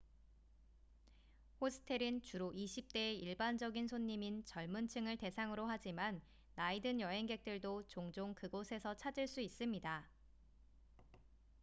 호스텔은 주로 20대의 일반적인 손님인 젊은 층을 대상으로 하지만 나이 든 여행객들도 종종 그곳에서 찾을 수 있습니다